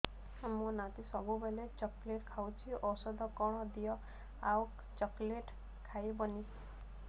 ମୋ ନାତି ସବୁବେଳେ ଚକଲେଟ ଖାଉଛି ଔଷଧ କଣ ଦିଅ ଆଉ ଚକଲେଟ ଖାଇବନି